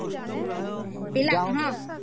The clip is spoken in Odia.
ହଁ ପିଲାକେ, ହଁ ନାଇ ପିଲାକେ